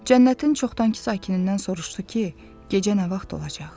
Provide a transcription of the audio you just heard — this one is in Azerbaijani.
Cənnətin çoxdankı sakinindən soruşdu ki, gecə nə vaxt olacaq?